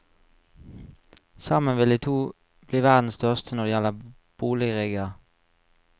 Sammen vil de to bli verdens største når det gjelder boligrigger.